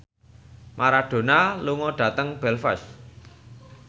Maradona lunga dhateng Belfast